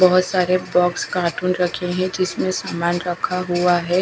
बहोत सारे box carton रखे है जिसमें सामान रखा हुआ हैं।